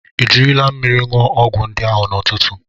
Ejiri m mmiri ṅụọ ọgwụ ndị ahụ n’ụtụtụ.